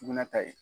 Sugunɛ ta ye